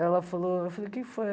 Ela falou, eu falei, o que foi?